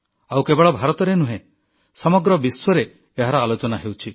ଆଉ କେବଳ ଭାରତରେ ନୁହେଁ ସମଗ୍ର ବିଶ୍ୱରେ ଏହାର ଆଲୋଚନା ହେଉଛି